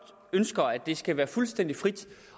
ønsker at det skal være fuldstændig frit